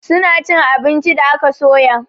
Suna chin abinci da aka soya